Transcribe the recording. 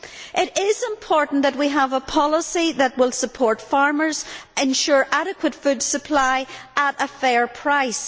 It is important that we have a policy that will support farmers and ensure adequate food supply at a fair price.